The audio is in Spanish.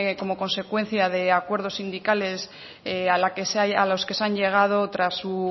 como consecuencia de acuerdos sindicales a los que se han llegado tras su